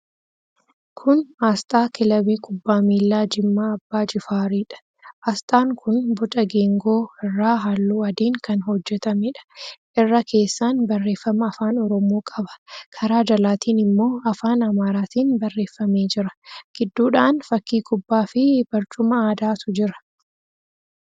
Kun aasxaa Kilabii Kubbaa Miilaa Jimmaa Abbaa Jifaariidha. Aasxaan kun boca geengoo irraa halluu aadiin kan hojjetameedha. Irra keessaan barreeffama afaan Oromoo qaba. Karaa jalaatiin immoo afaan Amaaraatiin barreeffamee jira. Gidduudhaan fakkii kubbaafi barcuma aadaatu jira.